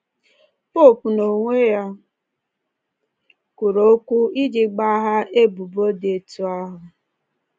Popu n’onwe ya kwuru okwu iji gbaghaa ebubo dị otú ahụ